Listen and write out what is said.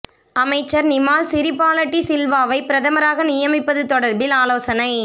அமைச்சர் நிமால் சிறிபால டி சில்வாவை பிரதமராக நியமிப்பது தொடர்பில் ஆலோசனை